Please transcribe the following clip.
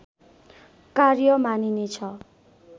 कार्य मानिनेछ